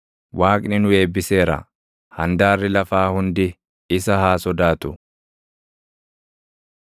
Waaqni nu eebbiseera; handaarri lafaa hundi isa haa sodaatu.